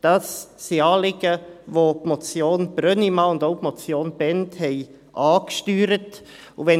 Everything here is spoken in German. Das sind Anliegen, welche die Motion Brönnimann und auch die Motion Bhend angesteuert haben.